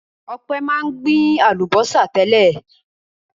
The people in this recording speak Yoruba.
Ọpẹ́ máa ń gbin àlùbọ́sà tẹ́lẹ̀.